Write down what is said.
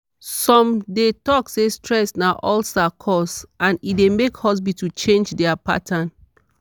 some dey talk say stress na ulcer cause and e dey make hospital change their pattern.